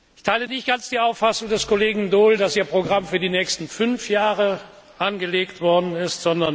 Ich teile nicht ganz die Auffassung des Kollegen Daul, dass Ihr Programm für die nächsten fünf Jahre angelegt worden ist.